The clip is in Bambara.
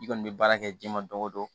I kɔni bɛ baara kɛ ji ma don o don